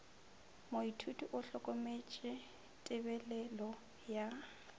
moithuti o hlokometše tebelelo ya